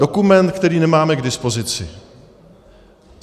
Dokument, který nemáme k dispozici.